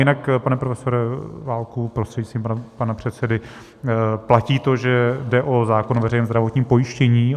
Jinak, pane profesore Válku prostřednictvím pana předsedy, platí to, že jde o zákon o veřejném zdravotním pojištění.